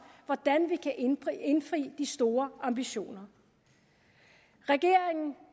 hvordan vi kan indfri de store ambitioner regeringen